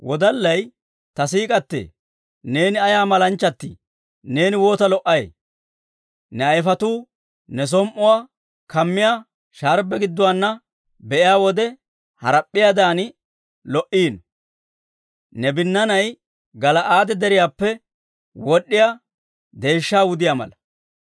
Ta siik'k'atee, neeni ayaa malanchchatii! Neeni woota lo"ay! Ne ayifetuu ne som"uwaa kammiyaa sharbbe gidduwaana be'iyaa wode, harap'p'iyaadan lo"iino. Ne binnaanay Gala'aade Deriyaappe wod'd'iyaa deeshshaa wudiyaa mala.